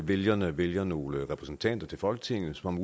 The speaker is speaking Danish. vælgerne vælger nogle repræsentanter til folketinget som